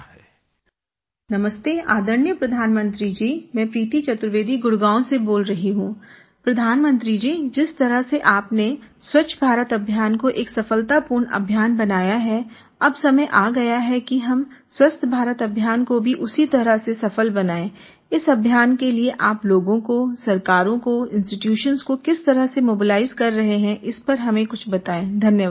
फ़ोननमस्ते आदरणीय प्रधानमंत्री जी मैं प्रीति चतुर्वेदी गुडगाँव से बोल रही हूँ प्रधानमंत्री जी जिस तरह से आपने स्वच्छभारत अभियान को एक सफलतापूर्ण अभियान बनाया है अब समय आ गया है कि हम स्वस्थभारत अभियान को भी उसी तरह से सफल बनाएँ इस अभियान के लिए आप लोगों कोसरकारों को इंस्टीट्यूशंस को किस तरह से Mobiliseकर रहे हैं इस पर हमें कुछ बताएं धन्यवाद